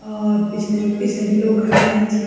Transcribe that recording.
और पिछने पिछने भी लोग खड़ा हुयां छी।